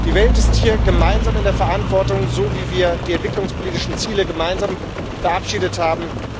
Die Welt ist hier gemeinsam in der Verantwortung, so wie wir die entwicklungspolitischen Ziele gemeinsam verabschiedet haben.